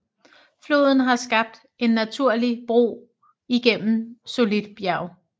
Floden har skabt en naturlig bro igennem solidt bjerg